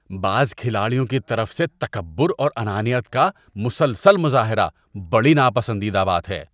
بعض کھلاڑیوں کی طرف سے تکبر اور انانیت کا مسلسل مظاہرہ بڑی ناپسندیدہ بات ہے۔